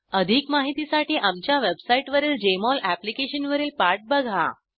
अधिक माहितीसाठी आमच्या वेबसाईटवरील जेएमओल एप्लिकेशन वरील पाठ बघा